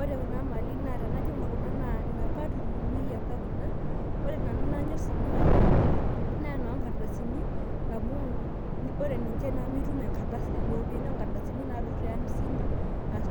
ore kuna mali naa inapa tururuni yapa ore nanu inanyor tenakata naa inoo ngardasini amu ore niche nimitum iropiyiani naadou tiamisini